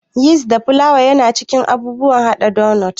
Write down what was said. Yist da flawa yana cikin abubuwan haɗa donot.